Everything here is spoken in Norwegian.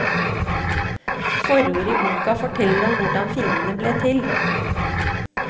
Forordet i boka forteller om hvordan filmene ble til.